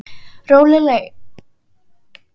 Lóreley, heyrðu í mér eftir fjörutíu og eina mínútur.